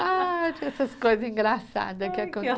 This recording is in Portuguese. Ah, tinha essas coisa engraçada